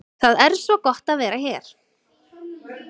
Það er svo gott að vera hér.